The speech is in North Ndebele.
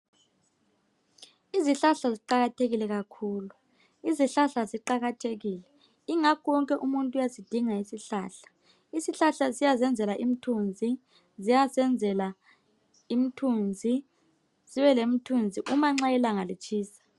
Izihlahla ziqakathekile kakhulu. Izihlahla ziqakathekile, ingakho wonke umuntu uyasidinga isihlahla. Isihlahla siyazenzela imthunzi, ziyasenzela imthunzi sibe lemthunzi uma nxa ilanga litshisa